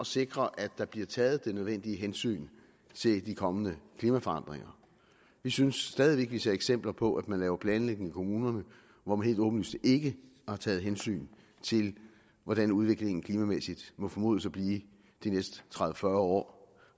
sikre at der bliver taget det nødvendige hensyn til de kommende klimaforandringer vi synes stadig væk vi ser eksempler på at man laver planlægning i kommunerne hvor man helt åbenlyst ikke har taget hensyn til hvordan udviklingen klimamæssigt må formodes at blive de næste tredive til fyrre år